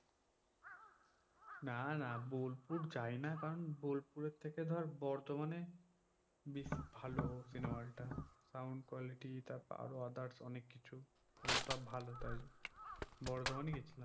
না না বোলপুর যাই না কারণ বোলপুরের থেকে ধর বর্ধমানে বেশ ভালো cinema hall টা। sound quality তারপরে others অনেককিছু ওগুলো সব ভালো, তাই বর্ধমানই গেছিলাম।